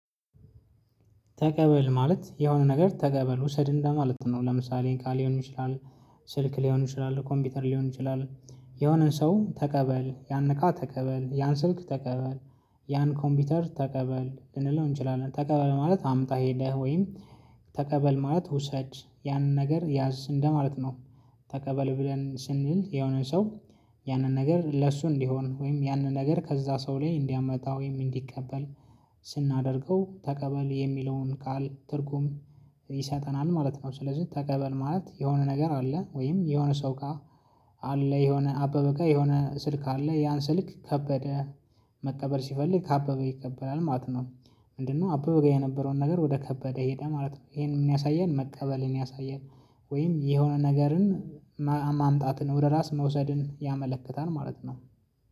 ተቀበል ማለት የሆነ ነገር ተቀበል ውሰድ እንደ ማለት ነው። ለምሳሌ እቃ ሊሆን ይችላል ስልክ ሊሆን ይችላል ኮምፒውተር ሊሆን ይችላል የሆነን ሰው ተቀበል ያን እቃ ተቀበል ያን ስልክ ተቀበል ያን ኮምፒውተር ተቀበል ልንለው እንችላለን። ተቀበል ማለት አምጣ ሄደህ ወይም ተቀበል ማለት ውሰድ ያንን ነገር ያዝ እንደ ማለት ነው። ተቀበል ብለን ስንል የሆነን ሰው ያንን ነገር ለሱ እንዲሆን ወይም ያንን ነገር ከዛ ሰው ላይ እንዲያመጣ ወይም እንዲቀበል ስናደርገው ተቀበል የሚለውን ቃል ትርጉም ይሰጠናል ማለት ነው። ስለዚህ ተቀበል ማለት የሆነ ነገር አለ ወይም የሆነ ሰው ጋ አለ የሆነ አበበ ጋ የሆነ ስልክ አለ ያን ስልክ ከበደ መቀበል ሲፈልግ ከአበበ ይቀበላል ማለት ነው። ምንድነው አበበ ጋ የነበረውን ነገር ወደ ከበደ ሄደ ማለት ነው። ይሄ ምን ያሳያል? መቀበልን ያሳያል። ወይም የሆነ ነገርን ማምጣትን ወደ ራስ መውሰድን ያመለክታል ማለት ነው